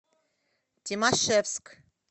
тимашевск